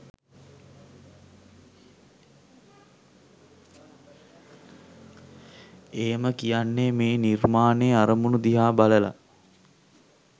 එහෙම කියන්නේ මේ නිර්මාණයේ අරමූණ දිහා බලලා